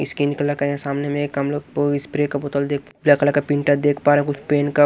skin colour का य सामने में एक हम लोग स्प्रे का बोतल देख ब्लैक कलर का प्रिंटर देख पा रहे हैं कुछ पेंका--